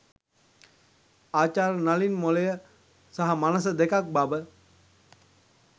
ආචාර්ය නලින් මොළය සහ මනස දෙකක් බව